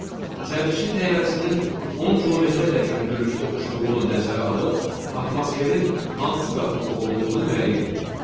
C. Sərnişin təyyarəsinin 10 kilometrədək hündürlükdə uçduğunu nəzərə alıb atmosferin hansı qatında olduğunu müəyyən eləyin.